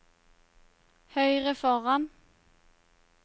høyre foran